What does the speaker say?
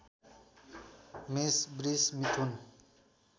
मेष वृष मिथुन